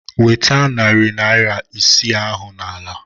Nweta narị naira isii ahụ n'ala!